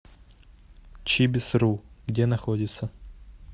чибисру где находится